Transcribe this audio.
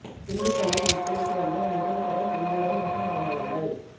திண்டுக்கல்லில் விற்பனைக்கு வந்த முதல் தர செந்தூரம் ரக மாம்பழங்கள்